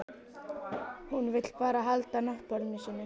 Hún vill bara halda náttborðinu sínu.